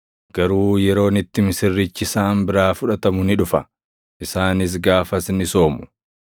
Garuu yeroon itti misirrichi isaan biraa fudhatamu ni dhufa; isaanis gaafas ni soomu.